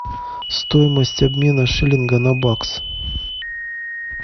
стоимость обмена шиллинга на бакс